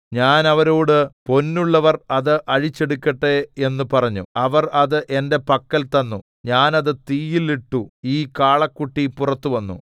ഞാൻ അവരോട് പൊന്നുള്ളവർ അത് അഴിച്ചെടുക്കട്ടെ എന്ന് പറഞ്ഞു അവർ അത് എന്റെ പക്കൽ തന്നു ഞാൻ അത് തീയിൽ ഇട്ടു ഈ കാളക്കുട്ടി പുറത്തു വന്നു